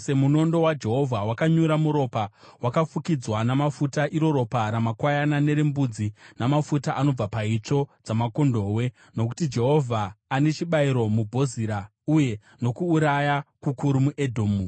Munondo waJehovha wakanyura muropa, wakafukidzwa namafuta, iro ropa ramakwayana nerembudzi, namafuta anobva paitsvo dzamakondobwe. Nokuti Jehovha ane chibayiro muBozira uye nokuuraya kukuru muEdhomu.